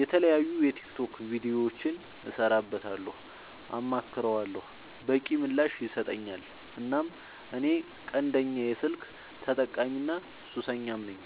የተለያዩ የቲክቶክ ቪዲዮዎችን እሰራበታለሁ አማክረዋለሁ። በቂ ምላሽ ይሰጠኛል እናም እኔ ቀንደኛ የስልክ ተጠቀሚና ሱሰኛም ነኝ።